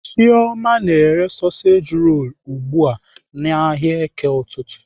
Chioma na-ere soseji rolu ugbu a n'ahịa eke ụtụtụ.